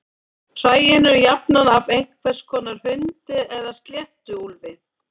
Hræin eru jafnan af einhvers konar hundi eða sléttuúlfi.